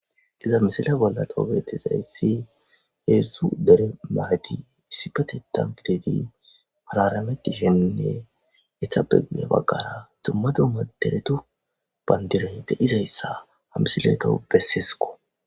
Iza misila bollaxoobeetizayssi heessu dere maadi issipatetan gidedi hararameti shennne ethabe guya baggara tummadu maderetu bayndiroy de izayssa hamsileto besseesko